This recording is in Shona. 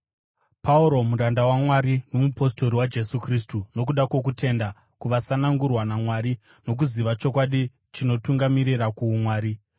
Pauro, muranda waMwari nomupostori waJesu Kristu nokuda kwokutenda kwavasanangurwa vaMwari nokuziva chokwadi chinotungamirira kuumwari,